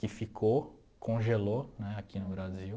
Que ficou, congelou né aqui no Brasil.